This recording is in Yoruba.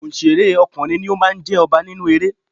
Onsere ọkùnrin ni ó máa ń jẹ ọba nínú eré.